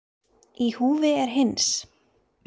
Í húfi er hins